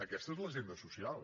aquesta és l’agenda social